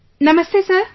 Namaste Sir